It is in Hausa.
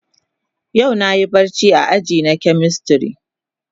Yau na Yi barci a aji na chemistry.